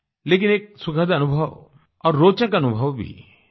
लेकिन एक सुखद अनुभव और रोचक अनुभव भी है